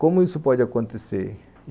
Como isso pode acontecer?